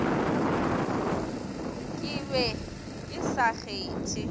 ke be ke sa kgethe